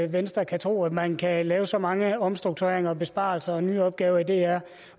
venstre kan tro at man kan lave så mange omstruktureringer og besparelser og nye opgaver i dr